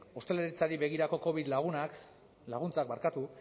ostalaritzari begirako covid laguntzak